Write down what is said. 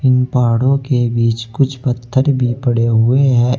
इन पहाड़ों के बीच कुछ पत्थर भी पड़े हुए हैं।